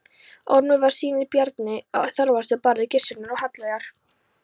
Ormur voru synir Bjarnar Þorvaldssonar, bróður Gissurar, og Hallveigar